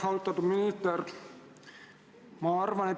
Austatud minister!